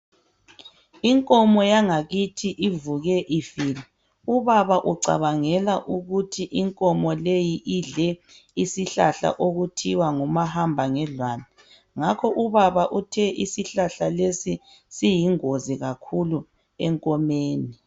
Inkomo yangakithi ivuke ifile. Ubaba ucabangela ukuthi inkomo leyi idle isihlahla okuthiwa ngumahamba ngedlwane, ngakho ubaba uthe isihlahla lesi siyingozi kakhulu enkomeni.